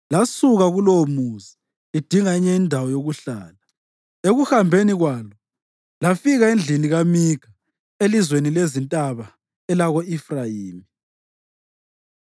lasuka kulowomuzi lidinga enye indawo yokuhlala. Ekuhambeni kwalo lafika endlini kaMikha elizweni lezintaba elako-Efrayimi.